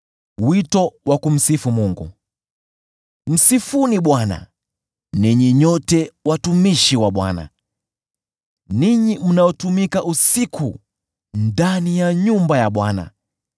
Msifuni Bwana , ninyi nyote watumishi wa Bwana , ninyi mnaotumika usiku ndani ya nyumba ya Bwana .